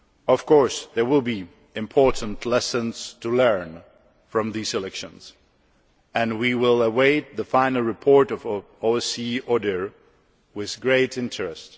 Of course, there will be important lessons to learn from these elections, and we will await the final report of OSCE ODIHR with great interest.